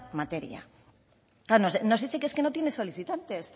materia claro nos dice que es que no tiene solicitantes